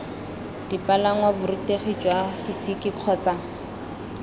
dipalangwa borutegi jwa fisika kgotsa